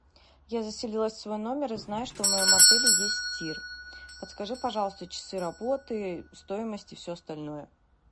я заселилась в свой номер и знаю что в моем отеле есть тир подскажи пожалуйста часы работы стоимость и все остальное